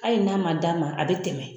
Hali n'a man d'a ma a bɛ tɛmɛ.